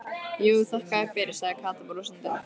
Jú, þakka þér fyrir sagði Kata brosandi.